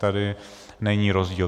Tady není rozdíl.